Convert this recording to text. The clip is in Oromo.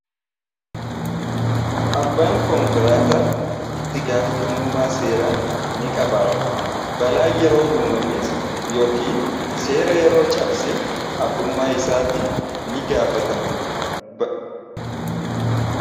Abbaan konkolaataa ittigaafatamummaa seeraa niqabaata. Balaan yeroo uumames yookiin seera yeroo cabse abbummaa isaatiin nigaafatama.